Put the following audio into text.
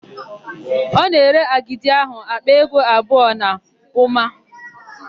Ọ na-ere agidi áhụ̀ àkpà ego abụọ na ụma?